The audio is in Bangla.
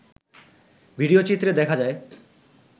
ভিডিওচিত্রে দেখা যায়